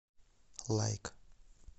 лайк